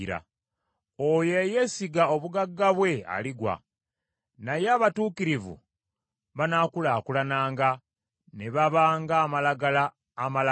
Oyo eyeesiga obugagga bwe aligwa, naye abatuukirivu banaakulaakulananga ne baba ng’amalagala amalamu.